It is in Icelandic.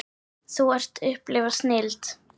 Þú ert að upplifa snilld.